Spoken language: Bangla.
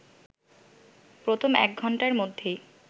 প্রথম এক ঘণ্টার মধ্যেই